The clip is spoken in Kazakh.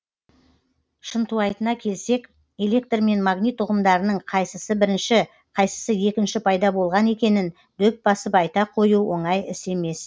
шынтуайтына келсек электр мен магнит ұғымдарының қайсысы бірінші қайсысы екінші пайда болған екенін дөп басып айта қою оңай іс емес